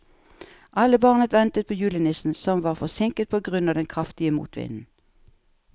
Alle barna ventet på julenissen, som var forsinket på grunn av den kraftige motvinden.